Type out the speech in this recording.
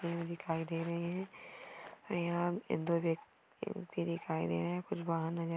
दिखाई दे रहे है यहा दो व्यक्ती दिखाई दे रहे है कुछ बाहर नजर आ--